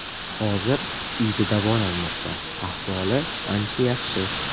Hozir uyda davolanmoqda, ahvoli ancha yaxshi.